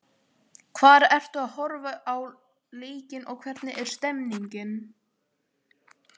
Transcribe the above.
Hvar ertu að horfa á leikinn og hvernig er stemningin?